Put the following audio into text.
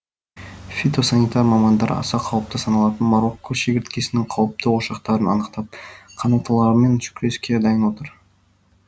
фито санитар мамандар аса қауіпті саналатын марокко шегірткесінің қауіпті ошақтары анықтап қанаттылармен күреске дайын отыр